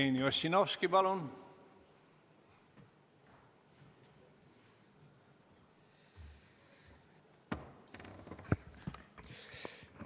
Jevgeni Ossinovski, palun!